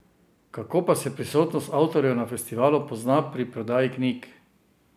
Kako pa se prisotnost avtorjev na festivalu pozna pri prodaji knjig?